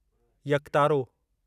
यकतारो